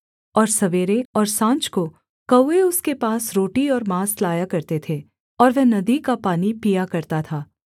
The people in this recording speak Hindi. और सवेरे और साँझ को कौवे उसके पास रोटी और माँस लाया करते थे और वह नदी का पानी पिया करता था